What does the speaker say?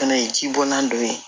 Fɛnɛ ye ji bɔnna dɔ ye